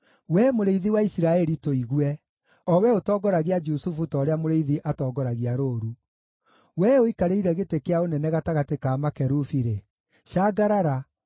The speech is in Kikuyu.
Wee Mũrĩithi wa Isiraeli, tũigue, o Wee ũtongoragia Jusufu ta ũrĩa mũrĩithi atongoragia rũũru; Wee ũikarĩire gĩtĩ kĩa ũnene gatagatĩ ka makerubi-rĩ, cangarara